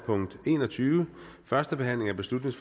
forhandlingen sluttet